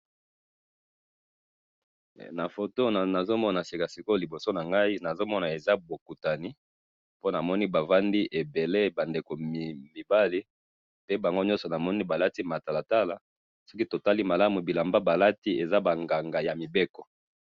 Eh! Na foto oyo nazomona sikasikoyo liboso nangayi, nazomona eza bokutani, po namoni bavandi ebele bandeko mibali, pe bangonyoso namini balati matalatala, soki totali malamu bilamba balati, eza banganga yamibeko.